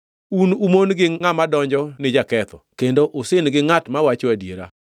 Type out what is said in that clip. Un umon gi ngʼama odonjo ni jaketho, kendo usin gi ngʼat mawacho adiera.